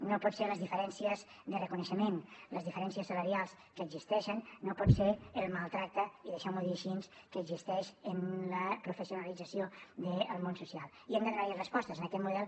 no poden ser les diferències de reconeixement les diferències salarials que existeixen no pot ser el maltractament i deixeu m’ho dir així que existeix en la professionalització del món social i hem de donar hi respostes a aquest model